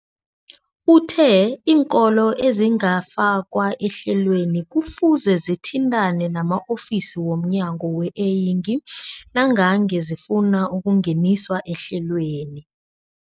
Uthe iinkolo ezingakafakwa ehlelweneli kufuze zithintane nama-ofisi wo mnyango weeyingi nangange zifuna ukungeniswa ehlelweni.